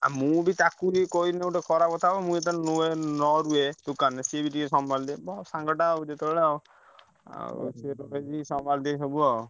ଆଉ ମୁଁ ବି ତାକୁ ବି କହିଲେ ଗୋଟେ ଖରାପ କଥା ହବ। ମୁଁ ଯେତବେଳେ ରୁହେ ନ ରୁହେ ଦୋକାନରେ ସିଏବି ଟିକେ ସମ୍ଭାଳି ଦେଇଥାଏ ସାଙ୍ଗଟା ଆଉ ଯେତେହେଲେ ଆଉ ଆଉ ଅସୁବିଧା time କି ସମ୍ଭାଳି ଦିଏ ସବୁ ଆଉ।